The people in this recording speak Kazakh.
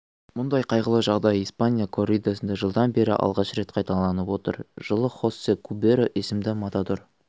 мұндай қайғылы жағдай испания корридасында жылдан бері алғаш рет қайталанып отыр жылы хосе куберо есімді матадор